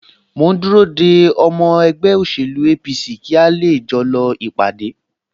Mò ń dúró de ọmọ ẹgbẹ́ òṣèlú APC kí a lè jọ lọ ìpàdé